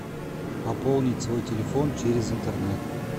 пополнить свой телефон через интернет